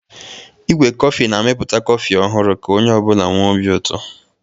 Igwe kọfị na-amịpụta kọfị ọhụrụ ka onye ọ bụla nwee obi ụtọ.